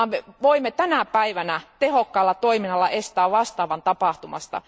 Me voimme tänä päivänä tehokkaalla toiminnalla estää vastaavan tapahtumasta.